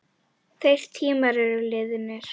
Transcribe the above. Þeir tímar eru liðnir.